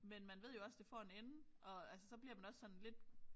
Men man ved jo også det får en ende og altså så bliver man også sådan lidt